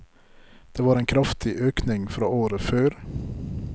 Det var en kraftig økning fra året før.